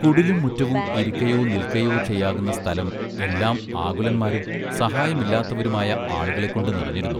കുടിലും മുറ്റവും ഇരിക്കയൊ നിൽക്കയൊ ചെയ്യാകുന്ന സ്ഥലം എല്ലാം ആകുലന്മാരും സഹായമില്ലാത്തവരുമായ ആളുകളെ കൊണ്ടു നിറഞ്ഞിരുന്നു.